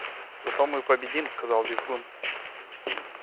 зато мы победим сказал визгун